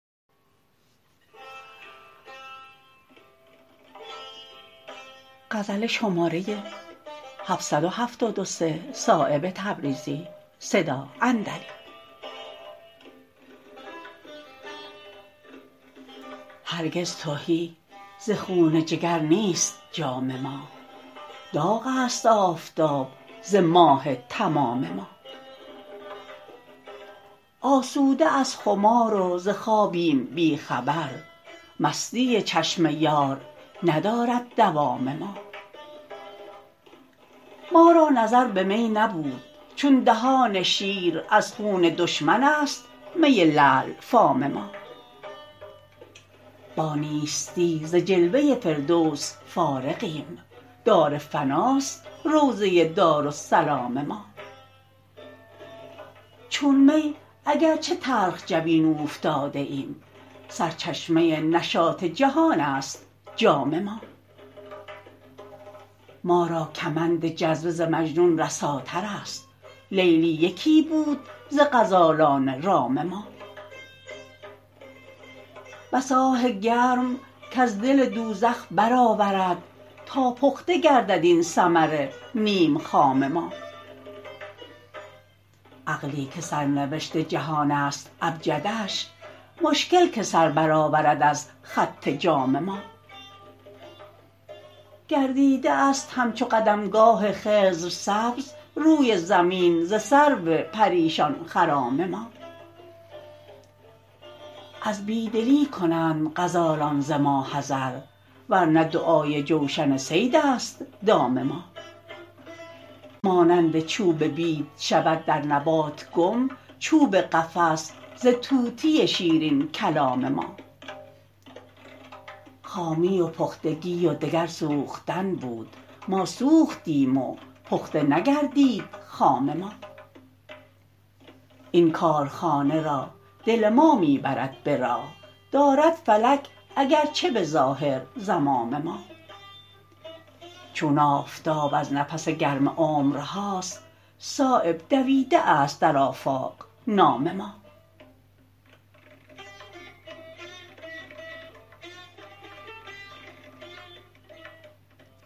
هرگز تهی ز خون جگر نیست جام ما داغ است آفتاب ز ماه تمام ما آسوده از خمار و ز خوابیم بی خبر مستی چشم یار ندارد دوام ما ما را نظر به می نبود چون دهان شیر از خون دشمن است می لعل فام ما با نیستی ز جلوه فردوس فارغیم دار فناست روضه دارالسلام ما چون می اگر چه تلخ جبین اوفتاده ایم سرچشمه نشاط جهان است جام ما ما را کمند جذبه ز مجنون رساترست لیلی یکی بود ز غزالان رام ما بس آه گرم کز دل دوزخ برآورد تا پخته گردد این ثمر نیم خام ما عقلی که سرنوشت جهان است ابجدش مشکل که سربرآورد از خط جام ما گردیده است همچو قدمگاه خضر سبز روی زمین ز سرو پریشان خرام ما از بیدلی کنند غزالان ز ما حذر ورنه دعای جوشن صیدست دام ما مانند چوب بید شود در نبات گم چوب قفس ز طوطی شیرین کلام ما خامی و پختگی و دگر سوختن بود ما سوختیم و پخته نگردید خام ما این کارخانه را دل ما می برد به راه دارد فلک اگر چه به ظاهر زمام ما چون آفتاب از نفس گرم عمرهاست صایب دویده است در آفاق نام ما